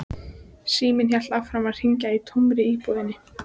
Síminn hélt áfram að hringja í tómri íbúðinni.